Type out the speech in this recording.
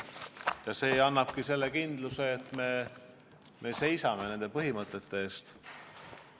Ja see annabki kindluse, et me seisame nende põhimõtete eest.